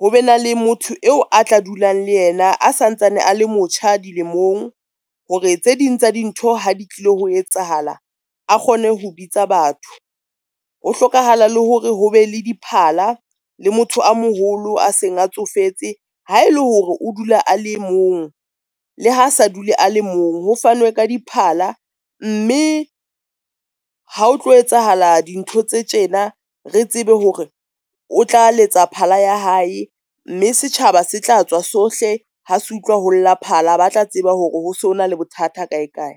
ho be na le motho eo a tla dulang le yena a sa ntsane a le motjha dilemong hore tse ding tsa dintho ha di tlilo ho etsahala, a kgone ho bitsa batho. Ho hlokahala le hore ho be le diphala le motho a moholo a seng a tsofetse ha ele hore o dula a le e mong. Le ha se dule a le mong, ho fanwe ka diphala mme ha o tlo etsahala dintho tse tjena, re tsebe hore o tla letsa phala ya hae, mme setjhaba se tla tswa sohle. Ha se utlwa ho lla phala ba tla tseba hore ho sona le bothata kae kae.